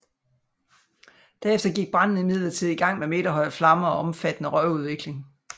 Derefter gik branden imidlertid i gang med meterhøje flammer og omfattende røgudvikling